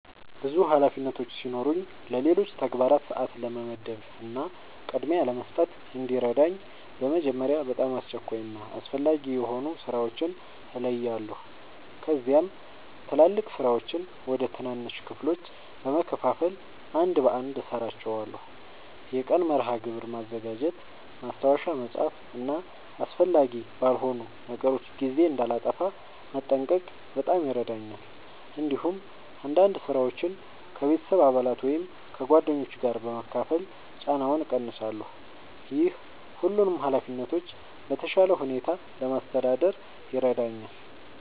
ብዙ ኃላፊነቶች ሲኖሩኝ ለሌሎች ተግባራት ሰአት ለመመደብ እና ቅድሚያ ለመስጠት እንዲረዳኝ በመጀመሪያ በጣም አስቸኳይ እና አስፈላጊ የሆኑ ሥራዎችን እለያለሁ። ከዚያም ትላልቅ ሥራዎችን ወደ ትናንሽ ክፍሎች በመከፋፈል አንድ በአንድ እሠራቸዋለሁ። የቀን መርሃ ግብር ማዘጋጀት፣ ማስታወሻ መጻፍ እና አስፈላጊ ባልሆኑ ነገሮች ጊዜ እንዳላጠፋ መጠንቀቅ በጣም ይረዳኛል። እንዲሁም አንዳንድ ሥራዎችን ከቤተሰብ አባላት ወይም ከጓደኞች ጋር በመካፈል ጫናውን እቀንሳለሁ። ይህ ሁሉንም ኃላፊነቶች በተሻለ ሁኔታ ለማስተዳደር ይረዳኛል።